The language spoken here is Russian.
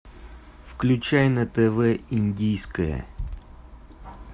включай на тв индийское